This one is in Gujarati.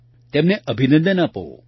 તમને એક નવો જ અનુભવ થશે